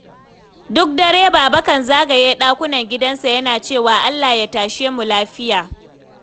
Duk dare Baba kan zagaya ɗakunan gidansa yana cewa 'Allah ya tashe mu lafiya.